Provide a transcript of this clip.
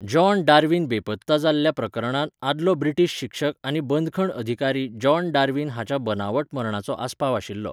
John Darwin बेपत्ता जाल्ल्या प्रकरणांत आदलो ब्रिटीश शिक्षक आनी बंदखण अधिकारी जॉन डार्वीन हाच्या बनावट मरणाचो आस्पाव आशिल्लो.